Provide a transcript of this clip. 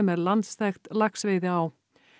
er landsþekkt laxveiðiá